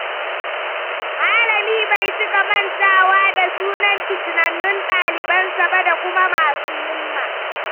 Malami bai cika mantawa da sunan fitinannun ɗalibansa ba da kuma masu himma.